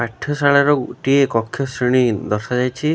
ପାଠଶାଳାର ଗୋଟିଏ କକ୍ଷ ଶ୍ରେଣୀ ଦର୍ଶା ଯାଇଛି ।